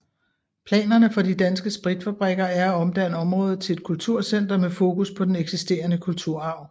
Planerne for De Danske Spritfabrikker er at omdanne området til et kulturcenter med fokus på den eksisterende kulturarv